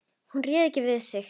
Hún réði ekki við sig.